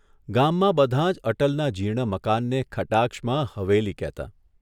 ગામમાં બધાં જ અટલના જીર્ણ મકાનને કટાક્ષમાં ' હવેલી' કહેતાં.